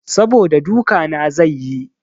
Saboda duka na zai yi.